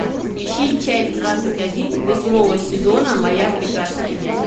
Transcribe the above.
ищи часть двадцать один восьмого сезона моя прекрасная няня